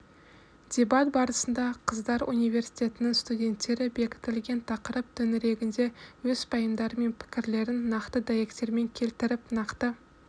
дебат барысында қыздар университетінің студенттері бекітілген тақырып төңірегінде өз пайымдары мен пікірлерін нақты дәйектермен келтіріп нақты